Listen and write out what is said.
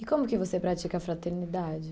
E como que você pratica a fraternidade?